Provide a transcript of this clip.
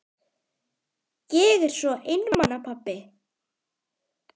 Ég er svo einmana pabbi.